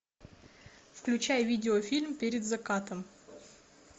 включай видеофильм перед закатом